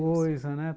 Ah, pouca coisa, né?